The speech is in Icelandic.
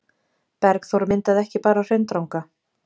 Berghlaup myndaði ekki bara Hraundranga.